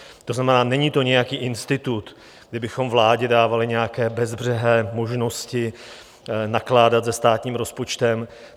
To znamená, není nějaký institut, kdy bychom vládě dávali nějaké bezbřehé možnosti nakládat se státním rozpočtem.